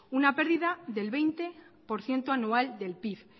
una pérdida del veinte por ciento anual del pib